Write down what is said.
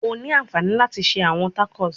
O ni anfani lati ṣe awọn tacos